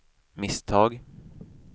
misstag